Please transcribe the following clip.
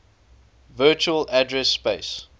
virtual address space